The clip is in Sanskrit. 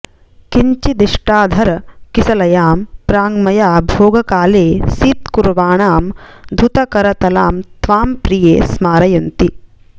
किञ्चिद्दष्टाधरकिसलयां प्राङ्मया भोगकाले सीत्कुर्वाणां धुतकरतलां त्वां प्रिये स्मारयन्ति